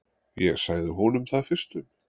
Ég sagði honum það fyrstum.